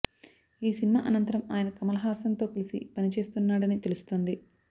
ఈ సినిమా అనంతరం ఆయన కమల్ హాసన్ తో కలిసి పని చేయనున్నాడని తెలుస్తోంది